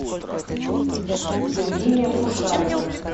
евгения кушаева